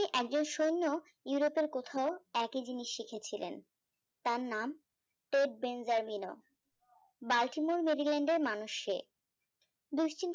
একজন সৈন্য ইউরোপের কোথাও একই জিনিস শিখেছিলেন তার নাম টেট বেনজালিন বাল্কিমোনেগেলেন্ড এর মানুষ সে দুশ্চিন্ত